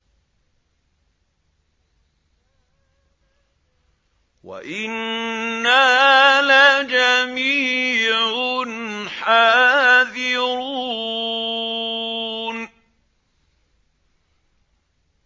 وَإِنَّا لَجَمِيعٌ حَاذِرُونَ